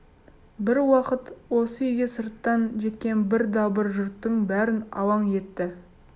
бір уақыт осы үйге сырттан жеткен бір дабыр жұрттың бәрін алаң етті